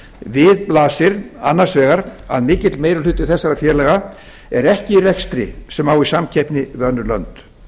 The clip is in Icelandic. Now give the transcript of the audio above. við blasir annars vegar að mikill meiri hluti þessara félaga er ekki í rekstri sem á í samkeppni við önnur lönd